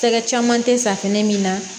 Tɛgɛ caman tɛ safunɛ min na